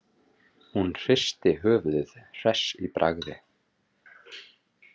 Hún hristi höfuðið, hress í bragði.